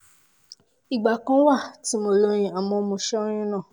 ìgbà kan wà tí mo lóyún àmọ́ mo ṣẹ́ oyún náà